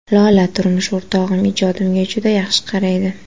Lola: Turmush o‘rtog‘im ijodimga juda yaxshi qaraydi.